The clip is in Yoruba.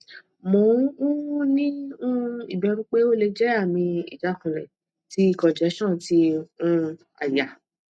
mo um ni um iberu pe ole je ami ijakunle ti congestion ti um aya